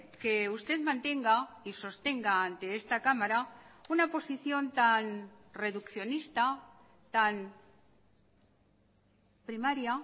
que usted mantenga y sostenga ante esta cámara una posición tan reduccionista tan primaria